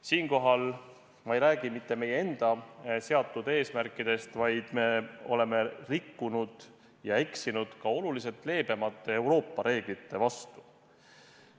Siinkohal ma ei räägi mitte meie enda seatud eesmärkidest, vaid me oleme rikkunud ja eksinud ka oluliselt leebemate Euroopa reeglite vastu.